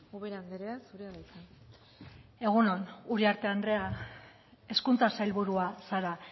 buruz ubera anderea zurea da hitza egun on uriarte anderea hezkuntza sailburua zara